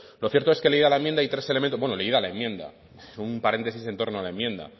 lo cierto es que leía la enmienda y tres elementos bueno leída la enmienda un paréntesis en torno a la enmienda